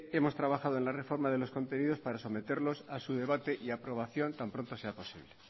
hemos trabajado en la reforma de los contenidos para someterlos a su debate y aprobación tan pronto sea posible